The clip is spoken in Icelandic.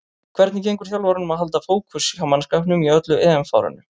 Hvernig gengur þjálfaranum að halda fókus hjá mannskapnum í öllu EM-fárinu?